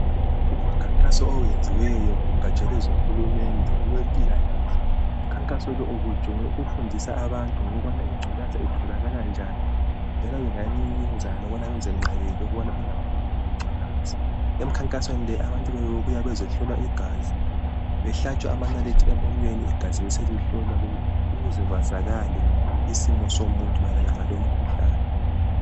Kulomkhankaso owenziyo ,lumkhankaso ubujonge ukufundisa abantu ukuba ingculaza itholakala njani ,njalo bengayenza njani ukuze bengabi layo, bebehlatshwa ngamanalithi behlolwa ukuze babesazi isimo lokuba bengenza njani nxa sebekwazi.